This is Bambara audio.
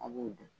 A b'o dun